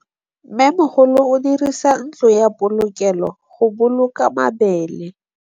Mmêmogolô o dirisa ntlo ya polokêlô, go boloka mabele.